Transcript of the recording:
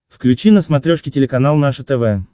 включи на смотрешке телеканал наше тв